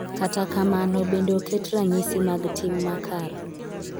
Kata kamano, bende oket ranyisi mag tim makare.